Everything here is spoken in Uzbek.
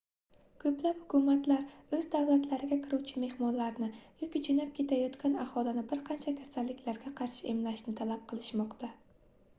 koʻplab hukumatlar oʻz davlatlariga kiruvchi mehmonlarni yoki joʻnab ketayotgan aholini bir qancha kasalliklarga qarshi emlashni talab qilishmoqda